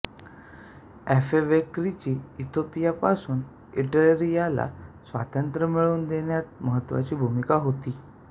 अफेवेर्कीची इथियोपियापासून इरिट्रियाला स्वातंत्र्य मिळवून देण्यात महत्त्वाची भूमिका होती